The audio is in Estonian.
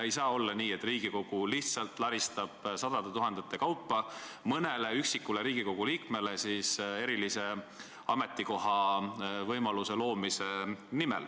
Ei saa olla nii, et Riigikogu lihtsalt laristab sadu tuhandeid eurosid maha, et mõnele üksikule Riigikogu liikmele eriline ametikoht luua.